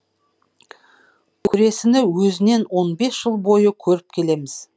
көресіні өзінен он бес жыл бойы көріп келеміз